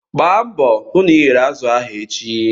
Gbaa mbọ hụ na ị ghere azụ ahụ echi!